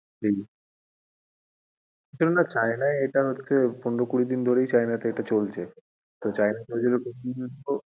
হুম, আসলে না China এ এটা হচ্ছে পনেরো কুড়ি দিন ধরেই চলছে তো China এ